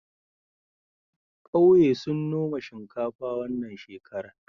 ƙauye sun noma shinkafa wannan shekarar